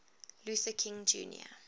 luther king jr